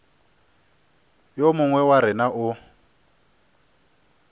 yo mongwe wa rena o